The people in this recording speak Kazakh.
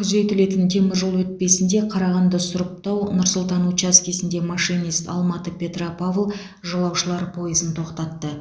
күзетілетін теміржол өтпесінде қарағанды сұрыптау нұр сұлтан учаскесінде машинист алматы петропавл жолаушылар пойызын тоқтатты